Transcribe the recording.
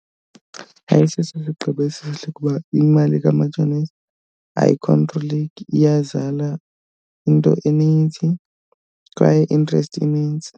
Ayisiso isigqibo esihle ukuba imali kamatshonisa ayikhontroleki, iyazala into eninzi kwaye i-interest inintsi.